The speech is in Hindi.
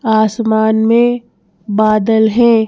आसमान में बादल हैं।